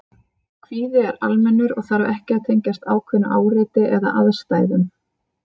Kvíði er almennur og þarf ekki að tengjast ákveðnu áreiti eða aðstæðum.